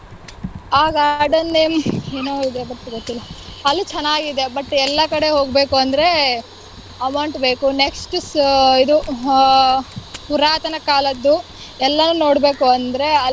ಆ garden name ಏನೋ ಇದೆ but ಗೊತ್ತಿಲ್ಲ, ಅಲ್ಲಿ ಚೆನ್ನಾಗಿದೆ. but ಎಲ್ಲಾ ಕಡೆ ಹೊಗ್ಬೇಕುಂದ್ರೆ amount ಬೇಕು. next ಸ ಇದು ಆಹ್ ಪುರಾತನ ಕಾಲದ್ದು, ಎಲ್ಲಾನು ನೋಡ್ಬೇಕೂಂದ್ರೆ ಅಲ್ಲೇ.